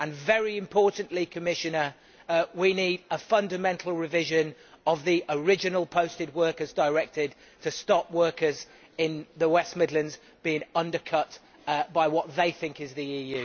and very importantly, Commissioner, we need a fundamental revision of the original Posting of Workers Directive to stop workers in the West Midlands being undercut by what they think is the EU.